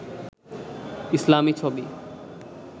ইসলামি ছবি